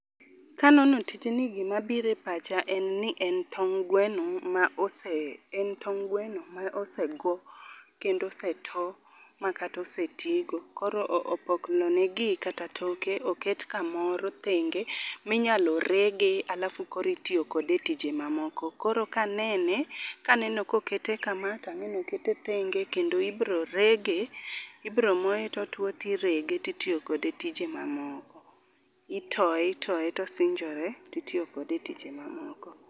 Kanono tijni gimabiro e pacha en ni en tong' gweno ma ose en tong' gweno ma osego, kendo oseto makata osetigo. Koro opoklonegi kata toke oket kamoro thenge minyalo rege alafu koro itiyo kode e tije mamoko. Koro kanene, kaneno kokete kama to ang'eni okete thenge kendo ibro rege, ibro moye totuwo tirege titiyo kode tije mamoko. Itoye itoye tosinjore titiyo kode e tije mamoko.